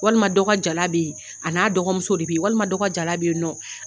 Walima dɔ ka jala bɛ yen a n'a dɔgɔmuso de bɛ yen walima dɔ ka jala bɛ yen nɔ